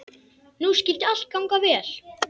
Nú skyldi allt ganga vel.